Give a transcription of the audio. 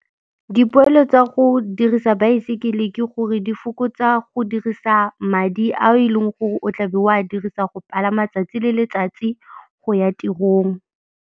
Dipoelo tsa go dirisa baesekele ke gore di fokotsa go dirisa madi a e leng gore o tla be o a dirisa go palama tsatsi le letsatsi go ya tirong.